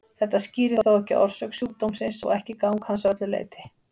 Þetta skýrir þó ekki orsök sjúkdómsins og ekki gang hans að öllu leyti.